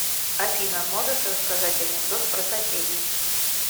афина можешь рассказать анекдот про соседей